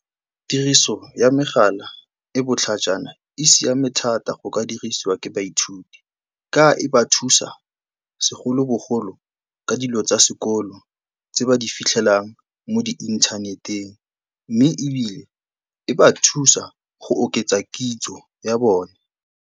Tiriso ya megala e botlhajana, e siame thata go ka dirisiwa ke baithuti ka e ba thusa segolobogolo ka dilo tsa sekolo tse ba di fitlhelang mo di-inthaneteng, mme ebile e ba thusa go oketsa kitso ya bone.